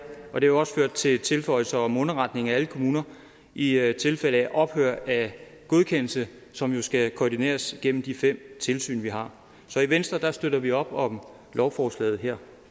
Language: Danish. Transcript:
og det har også ført til tilføjelser om underretning af alle kommuner i i tilfælde af ophør af godkendelse som jo skal koordineres igennem de fem tilsyn vi har så i venstre støtter vi op om lovforslaget her